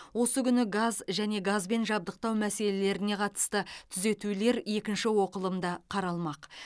осы күні газ және газбен жабдықтау мәселелеріне қатысты түзетулер екінші оқылымда қаралмақ